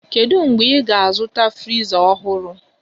Kedu mgbe ị ga-azụta friza ọhụrụ?